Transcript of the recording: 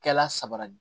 Kɛla sabali